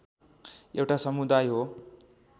एउटा समुदाय हो